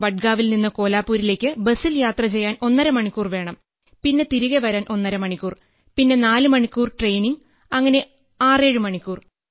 വഡ്ഗാവിൽനിന്ന് കോലാപ്പൂരിലേക്ക് ബസിൽ യാത്ര ചെയ്യാൻ ഒന്നര മണിക്കൂർ വേണം പിന്നെ തിരികെ വരാൻ ഒന്നര മണിക്കൂർ പിന്നെ നാല് മണിക്കൂർ ട്രെയിനിംഗ് അങ്ങനെ 6 7 മണിക്കൂർ